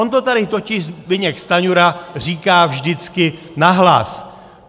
On to tady totiž Zbyněk Stanjura říká vždycky nahlas.